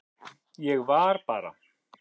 Ég var bara.